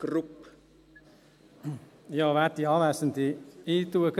Ich sage gleich im Voraus: